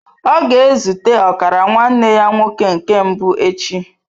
Ọ ga-ezute ọkara nwanne ya nwoke nke mbụ echi.